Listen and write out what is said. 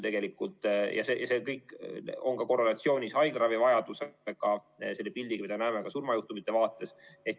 See kõik on korrelatsioonis haiglaravivajadusega, selle pildiga, mida näeme ka surmajuhtumite vaates.